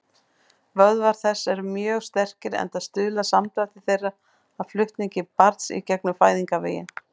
Vöðvar þess eru mjög sterkir, enda stuðla samdrættir þeirra að flutningi barns í gegnum fæðingarveginn.